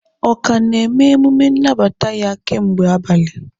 Ọ ka na-eme emume nnabata ya kemgbe abalị?